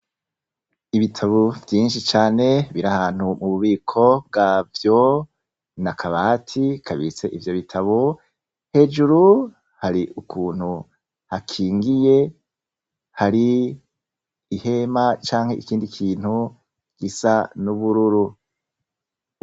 Ibitabo vyinshi cane biri ahantu mububiko bwavyo, n’akabati kabitse ivyo bitabo hejuru hari ukuntu hakingiye hari ihema canke ikindi kintu gisa n’ubururu.